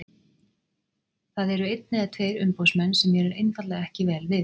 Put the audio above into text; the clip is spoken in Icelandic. Það eru einn eða tveir umboðsmenn sem mér er einfaldlega ekki vel við.